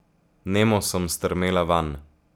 Nemo sem strmela vanj.